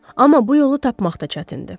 Amma bu yolu tapmaq da çətindir.